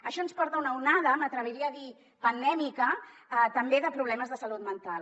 això ens porta una onada m’atreviria a dir pandèmica també de problemes de salut mental